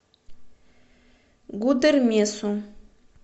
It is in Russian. гудермесу